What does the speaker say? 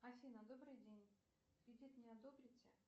афина добрый день кредит мне одобрите